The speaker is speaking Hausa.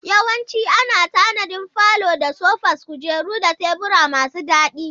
Yawanci ana tanadin falo da sofas, kujeru da tebura masu daɗi.